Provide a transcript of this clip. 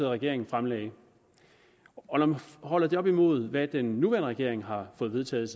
regering fremsatte og holder det op imod hvad den nuværende regering har fået vedtaget